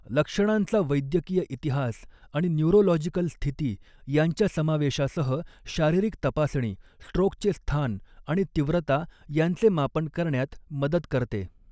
लक्षणांचा वैद्यकीय इतिहास आणि न्यूरोलॉजिकल स्थिती यांच्या समावेशासह शारीरिक तपासणी, स्ट्रोकचे स्थान आणि तीव्रता यांचे मापन करण्यात मदत करते.